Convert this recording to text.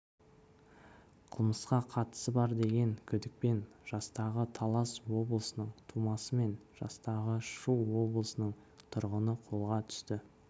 қылмысқа қатысы бар деген күдікпен жастағы талас облысының тумасы мен жастағы шу облысының тұрғыны қолға түсті